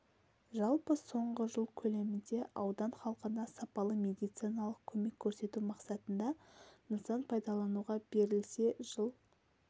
жалпы соңғы жыл көлемінде аудан халқына сапалы медициналық көмек көрсету мақсатында нысан пайдалануға берілсе жыл